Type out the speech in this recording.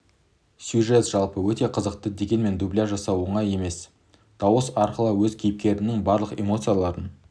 сюжет жалпы өте қызықты дегенмен дубляж жасау оңай іс емес дауыс арқылы өз кейіпкеріңнің барлық эмоцияларын